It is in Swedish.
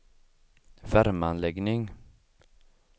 värmeanläggning